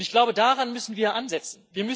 Und ich glaube, daran müssen wir ansetzen.